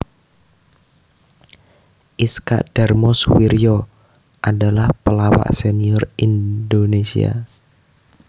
Iskak Darmo Suwiryo adalah pelawak senior indonesia